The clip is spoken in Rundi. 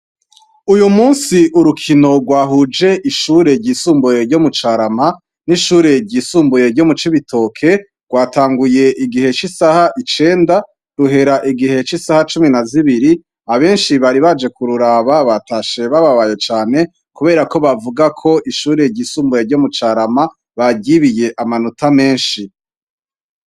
Uyumusi urukino gwahuje ishure ryisumbuye ryo mucarama n'ishure ryisumbuye ryo mucibitoke gwatanguye igihe c'isaha icenda ruhera igihe c'isaha cumi nazibiri. Abenshi bari baje kururaba batashe bababaye cane kuberako bavugako ishure ryisumbuye ryo mucarama baryibiye amanota meshi.